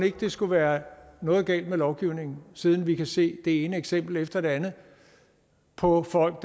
ikke der skulle være noget galt med lovgivningen siden vi kan se det ene eksempel efter det andet på at folk